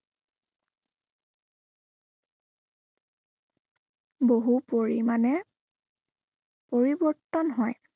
বহু পৰিমাণে পৰিৱৰ্তন হয়।